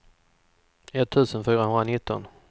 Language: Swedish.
etttusen fyrahundranitton